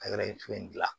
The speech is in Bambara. Ka kɛra in to yen